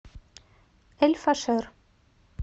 эль фашер